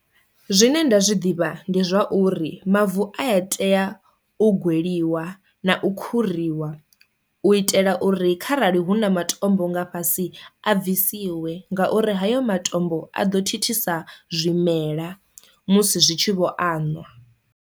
Zwine nda zwi ḓivha ndi zwauri mavu aya tea u gweliwa na u khuriwa u itela uri kharali hu na matombo nga fhasi a bvisiwa ngauri hayo matombo a ḓo thithisa zwimela musi zwi tshi vho anwa.